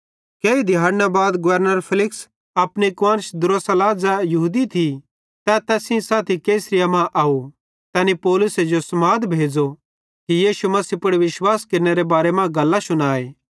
केही दिहैड़ना बाद गवर्नर फेलिक्स अपनी कुआन्श द्रुसिल्ला ज़ै यहूदी थी तै तैस सेइं साथी कैसरिया मां आव तैनी पौलुसे जो समाद भेज़ो ते यीशु मसीह पुड़ विश्वास केरनेरे बारे मां गल्लां शुनाए